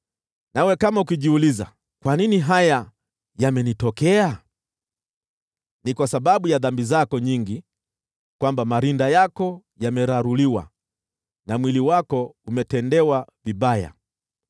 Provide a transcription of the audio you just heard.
Nawe kama ukijiuliza, “Kwa nini haya yamenitokea?” Ni kwa sababu ya dhambi zako nyingi ndipo marinda yako yameraruliwa na mwili wako umetendewa vibaya.